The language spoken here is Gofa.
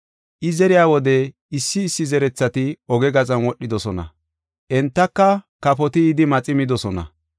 I zeriya wode issi issi zerethati oge gaxan wodhidosona; entaka kafoti yidi maxi midosona.